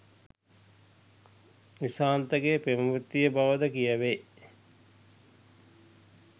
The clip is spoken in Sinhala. නිශාන්තගේ පෙම්වතිය බවද කියැවේ.